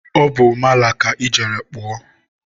ọ bụ mala ka ị jere kpụọ?